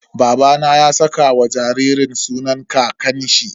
Babana ya saka wa jaririn sunan kakanshi.